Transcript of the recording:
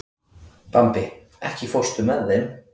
Bambi, ekki fórstu með þeim?